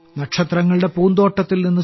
നക്ഷത്രങ്ങളുടെ പൂന്തോട്ടത്തിൽ നിന്ന്